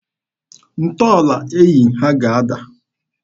Ntọala enyi ha ga-ada.